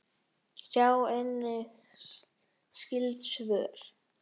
Sjá einnig skyld svör